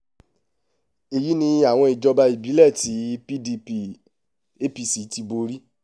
èyí ni àwọn ìjọba ìbílẹ̀ tí pdp apc ti borí